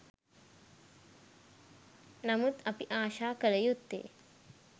නමුත් අපි ආශා කළ යුත්තේ